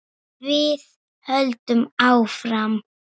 Við höldum áfram.